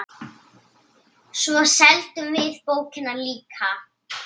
Svo seldum við bókina líka.